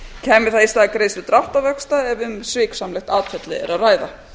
kæmi það í stað greiðslu dráttarvaxta ef um sviksamlegt atferli er að ræða